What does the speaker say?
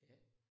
Ja